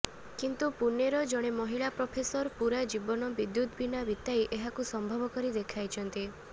କିନ୍ତୁ ପୁନେର ଜଣେ ମହିଳା ପ୍ରଫେସର ପୂରା ଜୀବନ ବିଦ୍ୟୁତ୍ ବିନା ବିତାଇ ଏହାକୁ ସମ୍ଭବ କରି ଦେଖାଇଛନ୍ତି